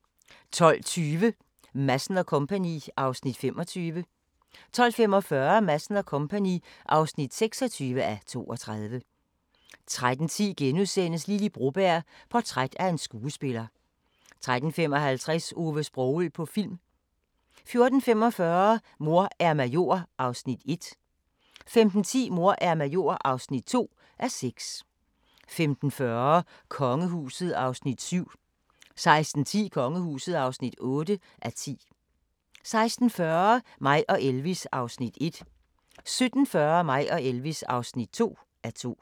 12:20: Madsen & Co. (25:32) 12:45: Madsen & Co. (26:32) 13:10: Lily Broberg – portræt af en skuespiller * 13:55: Ove Sprogøe på film 14:45: Mor er major (1:6) 15:10: Mor er major (2:6) 15:40: Kongehuset (7:10) 16:10: Kongehuset (8:10) 16:40: Mig og Elvis (1:2) 17:40: Mig og Elvis (2:2)